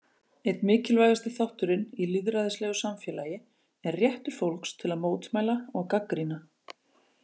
Einn mikilvægasti þátturinn í lýðræðislegu samfélagi er réttur fólks til að mótmæla og gagnrýna.